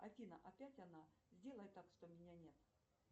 афина опять она сделай так что меня нет